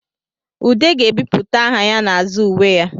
Ude ga-ebipụta aha ya n'azụ uwe ya